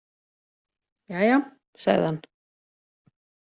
Jæja, sagði hann.